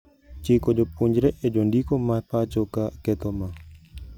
Chiko jopuonjre e jondiko ma pacho ka ketho ma.